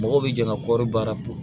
Mɔgɔw bɛ jɛn ka kɔɔri baara